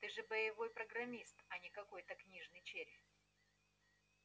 ты же боевой программист а не какой-то книжный червь